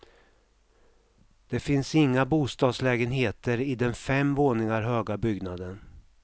Det finns inga bostadslägenheter i den fem våningar höga byggnaden.